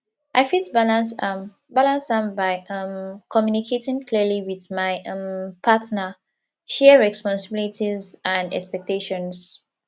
i fit balance am balance am by um communicating clearly with my um partner share responsibilities and expectations